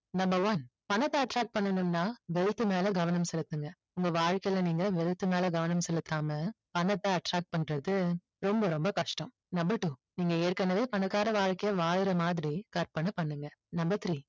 number one பணத்தை attract பண்ணனும்னா wealth மேல கவனம் செலுத்துங்க உங்க வாழ்கையில நீங்க wealth மேல கவனம் செலுத்தாம பணத்தை attract பண்றது ரொம்ப ரொம்ப கஷ்டம் number two நீங்க ஏற்கனவே பணக்கார வாழ்க்கையை வாழுற மாதிரி கற்பனை பண்ணுங்க number three